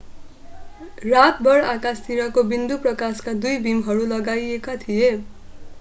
रातभर आकाशतिरको बिन्दुमा प्रकाशका दुई बीमहरू लगाइएका थिए